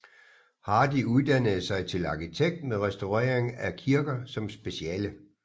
Hardy uddannede sig til arkitekt med restaurering af kirker som speciale